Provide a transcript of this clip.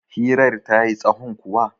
hirar ta yi tsahon kuwa?